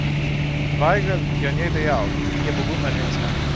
Vajgl je o njej dejal: "Je pogumna ženska.